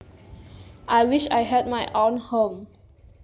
I wish I had my own home